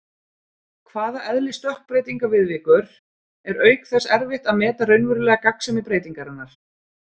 hvað eðli stökkbreytinga viðvíkur, er auk þess erfitt að meta raunverulega gagnsemi breytingarinnar.